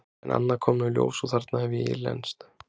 En annað kom nú í ljós og þarna hef ég ílenst.